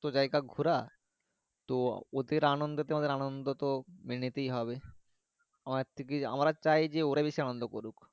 টা ঘুড়া তো ওদের অনান্দতে আনন্দত মেনে নিতে হবে আমরা চায় যে ওরা বেশি আনন্দ করুক।